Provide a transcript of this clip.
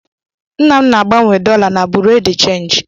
Nna m ná-agbanwe dọla na Bureau de change.